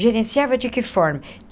Gerenciava de que forma?